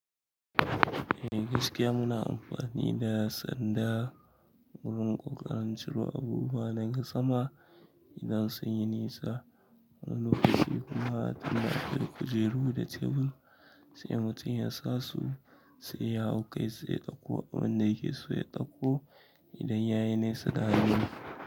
Eh gaskiya muna amfani da sanda wurin ƙoƙarin ciro abubuwan daga sama idan sun yi nisa. Wani lokaci kuma tunda akayi kujeru da tebur sai mutum ya sasu sai ya hau kai sai ya ɗauko abin da yake so ya ɗauko idan yayi nisa da hannu.